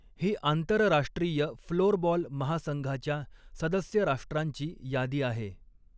ही आंतरराष्ट्रीय फ्लोरबॉल महासंघाच्या सदस्य राष्ट्रांची यादी आहे.